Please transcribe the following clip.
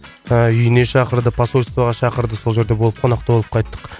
ыыы үйіне шақырды посольствоға шақырды сол жерде болып қонақта болып қайттық